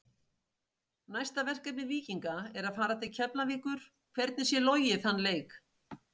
Næsta verkefni Víkinga er að fara til Keflavíkur, hvernig sér Logi þann leik?